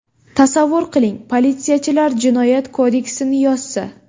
Tasavvur qiling, politsiyachilar jinoyat kodeksini yozsa.